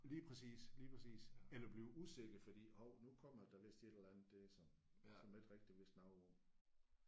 Lige præcis lige præcis eller bliver usikker fordi hov nu kommer der vist et eller andet der som som jeg ikke rigtig vidste noget om